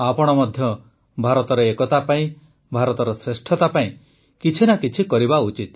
ଆପଣ ମଧ୍ୟ ଭାରତର ଏକତା ପାଇଁ ଭାରତର ଶ୍ରେଷ୍ଠତା ପାଇଁ କିଛି ନା କିଛି କରିବା ଉଚିତ